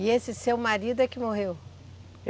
E esse seu marido é que morreu?